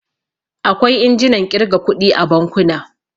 Akwai injinan ƙirga kuɗi a bankuna.